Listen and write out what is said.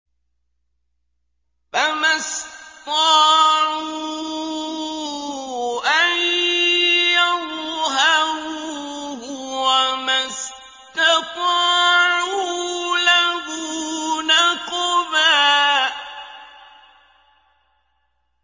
فَمَا اسْطَاعُوا أَن يَظْهَرُوهُ وَمَا اسْتَطَاعُوا لَهُ نَقْبًا